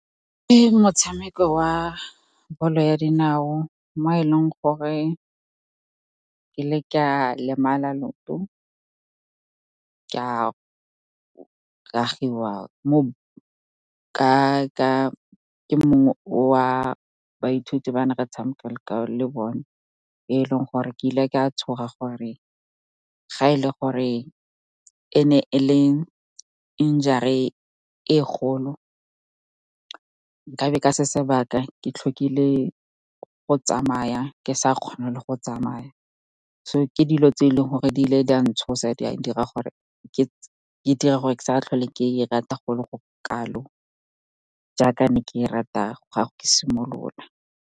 Ke motshameko wa bolo ya dinao, mo e leng gore ke ile ka lemala leoto ka ragiwa ke mongwe wa baithuti ba ne re tshameka le bone, e leng gore ke ile ka tshoga gore ga e le gore ene e le injury e kgolo ka be ka se sebaka ke tlhokile go tsamaya, ke sa kgone le go tsamaya. So ke dilo tse e leng gore di ile di a ntshosa, di dira gore ke sa tlhole ke e rata go le go kalo jaaka ne ke e rata ga ke simolola.